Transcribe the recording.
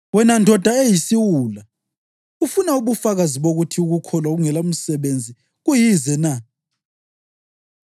Wena ndoda eyisiwula, ufuna ubufakazi bokuthi ukukholwa okungelamisebenzi kuyize na?